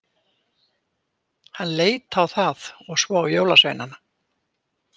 Hann leit á það og svo á jólasveinana.